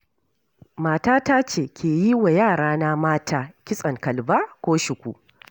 Matata ce ke yiwa yarana mata kitson kalba ko shuku.